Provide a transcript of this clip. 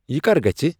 یہِ کَر گژھِ